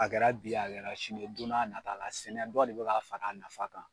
A kɛra bi ye a kɛra sini don n'a nata la sɛnɛ dɔ de be ka fara nafa kan